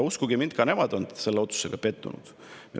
Uskuge mind, ka nemad on selles otsuses pettunud.